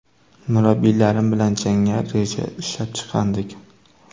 Murabbiylarim bilan jangga reja ishlab chiqqandik.